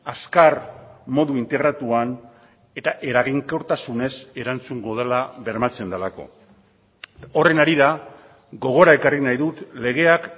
azkar modu integratuan eta eraginkortasunez erantzungo dela bermatzen delako horren harira gogora ekarri nahi dut legeak